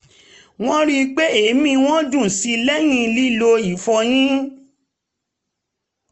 wọ́n rí i pé èémí wọn dùn síi lẹ́yìn lílo ìfọyín